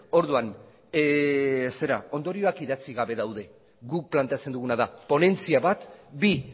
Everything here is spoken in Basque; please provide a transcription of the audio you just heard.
orduan ondorioak idatzi gabe daude guk planteatzen duguna da ponentzia bat bi